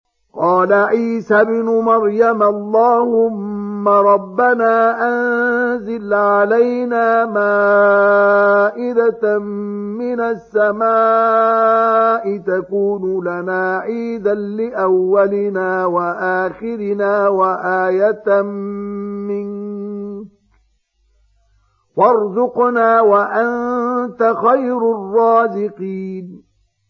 قَالَ عِيسَى ابْنُ مَرْيَمَ اللَّهُمَّ رَبَّنَا أَنزِلْ عَلَيْنَا مَائِدَةً مِّنَ السَّمَاءِ تَكُونُ لَنَا عِيدًا لِّأَوَّلِنَا وَآخِرِنَا وَآيَةً مِّنكَ ۖ وَارْزُقْنَا وَأَنتَ خَيْرُ الرَّازِقِينَ